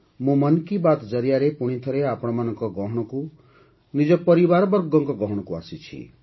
ମୁଁ 'ମନ୍ କି ବାତ୍' ଜରିଆରେ ପୁଣିଥରେ ଆପଣମାନଙ୍କ ଗହଣକୁ ନିଜ ପରିବାରବର୍ଗଙ୍କ ଗହଣକୁ ଆସିଛି